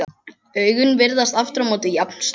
Augun virðast aftur á móti jafn stór.